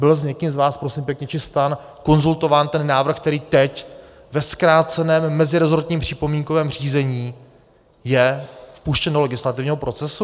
Byl s někým z vás, prosím pěkně, či stran konzultován ten návrh, který teď ve zkráceném mezirezortním připomínkovém řízení je puštěn do legislativního procesu?